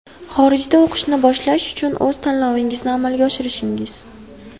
Xorijda o‘qishni boshlash uchun o‘z tanlovingizni amalga oshirishingiz.